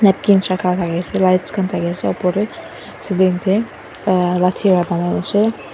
lights khan thakiase opor tae ceiling tae .]